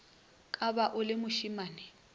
ka ba o le mošimane